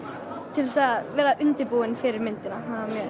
til þess að vera undirbúin fyrir myndina